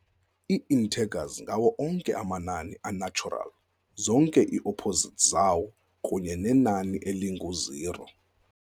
Ii-integers ngawo onke amanani a-natural, zonke ii-opposites zawo, kunye nenani eling-u-zero.